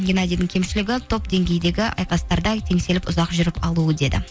геннадидің кемшілігі топ деңгейдегі айқастарда теңселіп ұзақ жүріп қалуы дейді